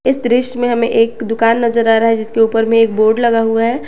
इस दृश्य में हमें एक दुकान नजर आ रहा है जिसके ऊपर में एक बोर्ड लगा हुआ है।